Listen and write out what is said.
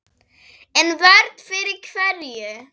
En vörn fyrir hverju?